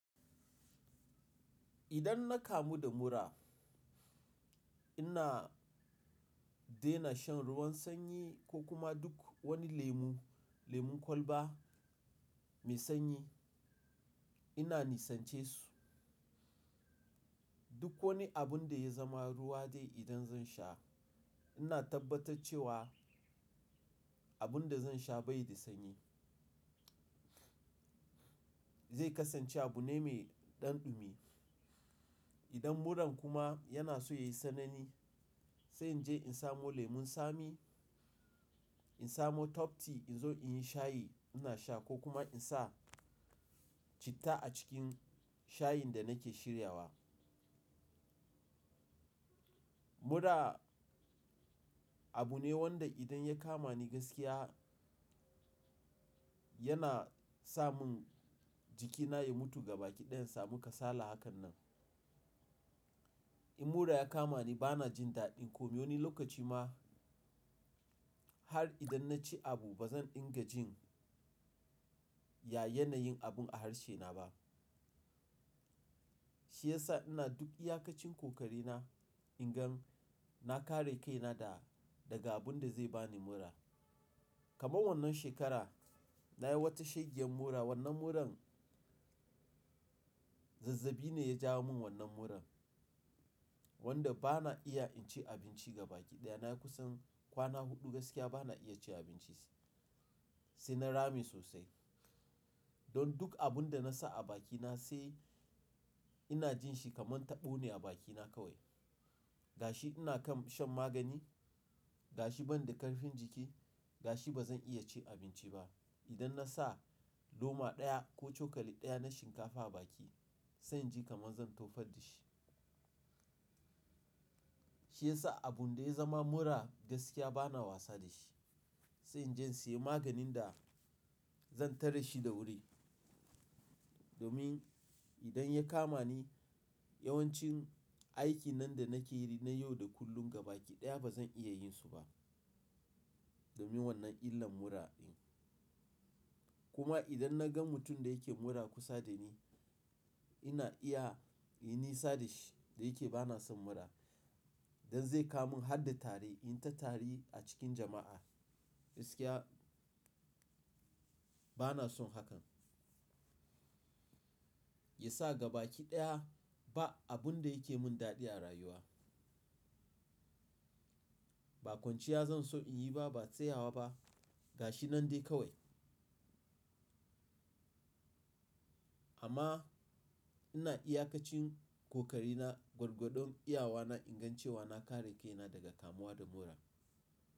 Idan na kamu da mura, ina dena shan ruwan sanyi ko kuma duk wani lemu, lemun kwalba mai sanyi ina nisance su. Duk wani abun da ya zama ruwa dai idan zan sha, ina tabbatar cewa abun da zan sha bai da sanyi. Zai kasance abu ne mai ɗanɗumi. Idan muran kuma yana so yayi sanani, sai in je in samo lemun tsami, in samo top tea in zo in yi shayi ina sha ko kuma in sa citta a cikin shayin da nake shirya wa. Mura abu ne wanda idan ya kama ni gaskiya, yana sa mun jikina ya mutu gaba ki ɗaya in samu kasala hakan nan. In mura ya kama ni bana jin daɗi kome wani lokaci ma har idan na ci abu ba zan dinga jin ya yana yin abun a harshe na ba. Shi yasa ina duk iyakacin kokari na ingan na kare kaina da daga abun da zai bani mura. Kaman wannan shekara nayi wata shegiyan mura. Wannan muran zazzabi ne ya jawo mun wannan muran wanda bana iya in ci abinci gaba ki ɗaya. Nayi kusan kwana huɗu gaskiya bana iya ci abinci sai na rame sosai. Don duk abun da nasa a baki na sai ina jin shi kaman taɓo ne a baki na kawai. Gashi ina kan shan magani, gashi ban da karfin jiki, gashi bazan iya ci abinci ba. Idan nasa loma ɗaya ko cokali ɗaya na shinkafa a baki, sai jin kaman zan tofar da shi. Shi yasa abun da ya zama mura gaskiya bana wasa da shi. Sai in je in siya maganin da zan tare shi da wuri. Domin idan ya kama ni yawancin aikin nan da nake yi na yau da kullum gaba ki ɗaya bazan iya yin su ba domin wannan illan mura din. Kuma idan naga mutum da yake mura kusa da ni, ina iya yin nisa da shi da yake bana son mura. Don zai kama mun har da tari in ta tari a cikin jama'a gaskiya bana son hakan. Yasa gaba ki ɗaya ba abun da yake mun daɗi a rayuwa. Ba kwanciya zan so in yi ba, ba tsayawa ba gashi nan dai kawai. Amma ina iyakacin kokari na gwargwadon iyawa na ingan cewa na kare kaina daga kamuwa da mura.